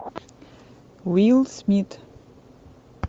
уилл смит